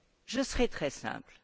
Je serai très simple.